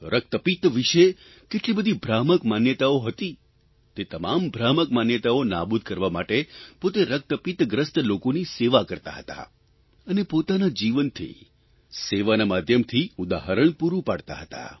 રક્તપિત્ત વિષે કેટલી બધી ભ્રામક માન્યતાઓ હતી તે તમામ ભ્રામક માન્યતાઓ નાબૂદ કરવા માટે પોતે રક્તપિત્તગ્રસ્ત લોકોની સેવા કરતા હતા અને પોતાના જીવનથી સેવાના માધ્યમથી ઉદાહરણ પૂરૂં પાડતા હતા